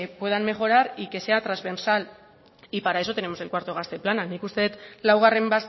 puedan mejorar y que sea transversal y para eso tenemos el cuarto gazte plana nik uste dut laugarren